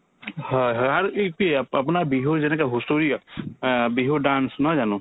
হয় হয় আৰুতো ইপি আপোনাৰ বিহুৰ যেনেকে হুঁচৰি গান আ বিহুৰ dance নহয় জানো